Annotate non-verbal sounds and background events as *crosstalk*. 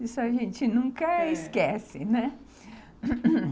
Isso a gente nunca esquece, né *coughs*